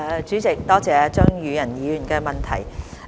主席，多謝張宇人議員的補充質詢。